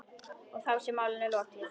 Og þá sé málinu lokið.